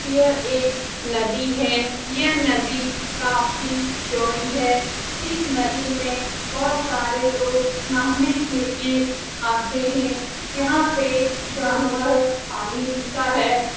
यह एक नदी है यह नदी काफी चौड़ी है इस नदी में बहोत सारे लोग नहाने के लिए आते है यहाँ पे जानवर पानी पीता है|